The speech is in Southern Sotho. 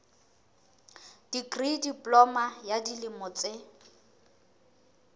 dikri diploma ya dilemo tse